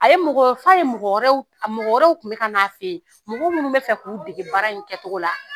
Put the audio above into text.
A ye mɔgɔ f'a ye mɔgɔ wɛrɛw, a mɔgɔ wɛrɛ kun bɛ ka na a fɛ yen. Mɔgɔ minnu bɛ fɛ k'u dege baara in kɛcogo la.